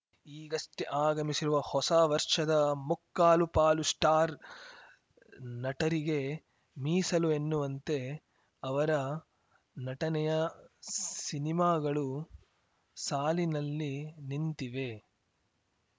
ಈಗಷ್ಟೆಆಗಮಿಸಿರುವ ಹೊಸ ವರ್ಷದ ಮುಕ್ಕಾಲು ಪಾಲು ಸ್ಟಾರ್‌ ನಟರಿಗೇ ಮೀಸಲು ಎನ್ನುವಂತೆ ಅವರ ನಟನೆಯ ಸಿನಿಮಾಗಳು ಸಾಲಿನಲ್ಲಿ ನಿಂತಿವೆ